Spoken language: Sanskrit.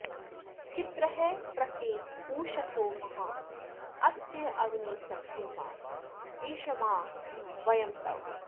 चित्रः प्रकेत उषसो महाँ अस्यग्ने सख्ये मा रिषामा वयं तव